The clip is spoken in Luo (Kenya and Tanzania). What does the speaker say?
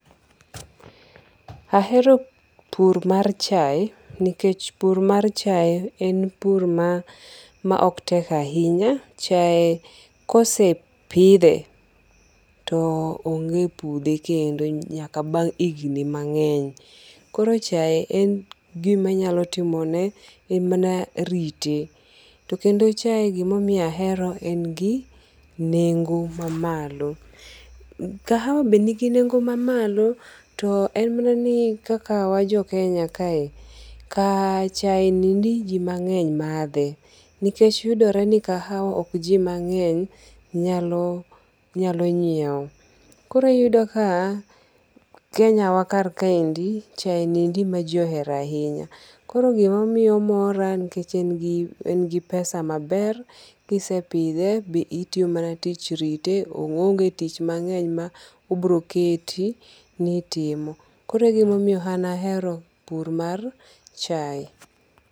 Ahero pur mar chae nikech pur mar chai en pur ma ma ok tek ahinya. Chae kosepidhe to onge pudhe kendo nyaka bang' higni mang'eny. Koro chae en gima inyalo timone en mana rite. Tokendo chae gima omiyo ahero en gi nengo mamalo. Kahawa be nigi nengo mamalo to en mana ni kaka wan jo Kenya kae chae nindi jii mang'eny madhe. Nikech yudore ni kahawa ok ji mang'eny nyalo nyiew. Koro iyudo ka Kenya wa kar kaendi chae endi ema jii ohero ahinya. Koro gima miyo omora nikech en gi pesa maber. Kisepidhe be itiyo tich rite. Oonge tich mang'eny ma obiroketi ni itimo. Koro egimomiyo an ahero pur mar chae.